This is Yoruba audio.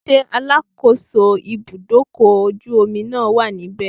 Ṣé alákòóso ibúdókọ̀ ojú omi náà wà níbẹ̀?